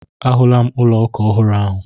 Ahụla m ụlọ ụka ọhụrụ ahụ.